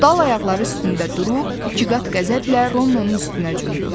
Dal ayaqları üstündə durub ikiqat qəzəblə Ronnonun üstünə cumdu.